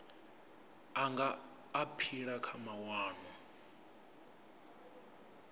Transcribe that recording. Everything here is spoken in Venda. a nga aphila kha mawanwa